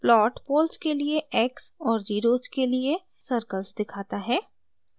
plot poles के लिए x और ज़ीरोज़ के लिए सर्कल्स दिखाता है